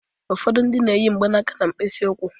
Ụfọdụ ndị na-eyi mgbanaka mkpịsị ụkwụ.